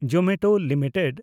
Zomato limited